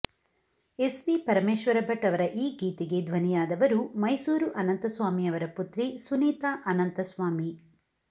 S V Parameshwara Bhat ಅವರ ಈ ಗೀತೆಗೆ ಧ್ವನಿಯಾದವರು ಮೈಸೂರು ಅನಂತಸ್ವಾಮಿಯವರ ಪುತ್ರಿ ಸುನೀತಾ ಅನಂತಸ್ವಾಮಿ